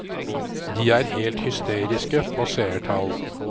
De er helt hysteriske på seertall.